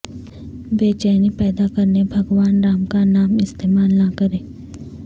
بے چینی پیدا کرنے بھگوان رام کا نام استعمال نہ کریں